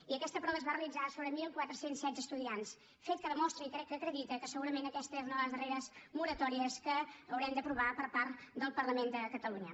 i aquesta prova es va realitzar sobre catorze deu sis estudiants fet que demostra i crec que acredita que segurament aquesta és una de les darreres moratòries que haurem d’aprovar per part del parlament de catalunya